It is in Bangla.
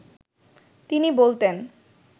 তিনি বলতেন